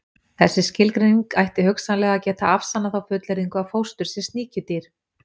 Þessi skilgreining ætti hugsanlega að geta afsannað þá fullyrðingu að fóstur sé sníkjudýr.